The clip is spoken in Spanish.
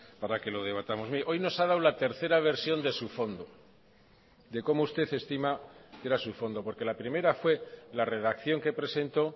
para que lo debatamos hoy nos ha dado la tercera versión de su fondo de como usted estima que era su fondo porque la primera fue la redacción que presentó